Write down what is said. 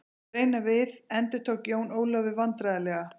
Reyna við endurtók Jón Ólafur vandræðalega.